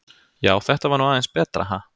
Já, þetta var nú aðeins betra, ha!